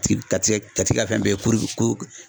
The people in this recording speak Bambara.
Ka t'i ka t'i ka t'i fɛn bɛɛ kɛ